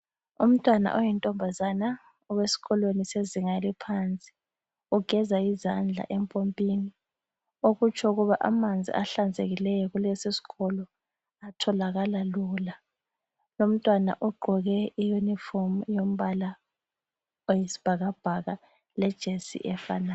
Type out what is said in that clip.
Umntwana oyinkazana owesikolweni sezinga eliphansi ugeza izandla empompini okutsho ukuba amanzi ahlanzekileyo kulesi sikolo atholakala lula lomntwana ugqoke iuniform yombala oyisibhakabhaka lejesi efanayo.